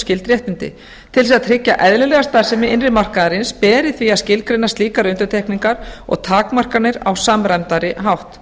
skyld réttindi til að tryggja eðlilega starfsemi innri markaðarins beri því að skilgreina slíkar undantekningar og takmarkanir á samræmdari hátt